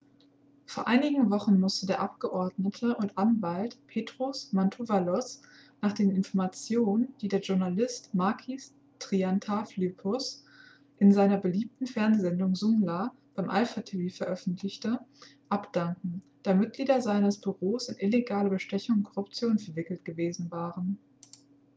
vor einigen wochen musste der abgeordnete und anwalt petros mantouvalos nach den informationen die der journalist makis triantafylopoulos in seiner beliebten fernsehsendung zoungla bei alpha tv öffentlich machte abdanken da mitglieder seines büros in illegale bestechung und korruption verwickelt gewesen waren